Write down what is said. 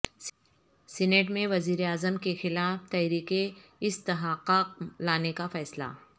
senate میں وزیراعظم کیخلاف تحریک استحقاق لانے کا فیصلہ